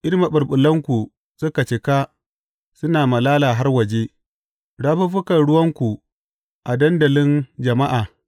In maɓulɓulanku suka cika suna malala har waje, rafuffukan ruwanku a dandalin jama’a?